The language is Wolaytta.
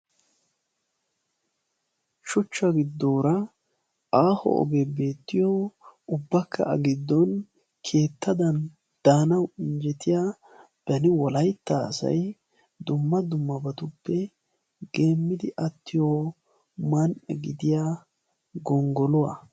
shuchcha giddoora aaho ogee beettiyo ubbakka a giddon keettadan daanau injjetiya bani wolaytta asay dumma dummabatuppe geemmidi attiyo man''a gidiya gonggoluwaa